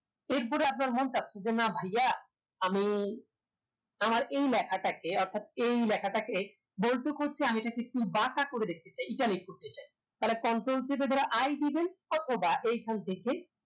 এরপরে আপনার মন চাচ্ছে যে না ভাইয়া আমি আর এই লেখাটাকে অর্থাৎ এই লেখাটাকে bold তো করেছি আমি এটাকে একটু বাঁকা করে দেখতে চাই italic কেটে চাই তাহলে control চেপে ধরে I দিবেন অথবা এখান থেকে